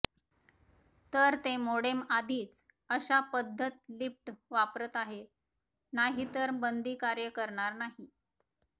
तर ते मोडेम आधीच अशा पद्धत लिफ्ट वापरत आहे नाही तर बंदी कार्य करणार नाही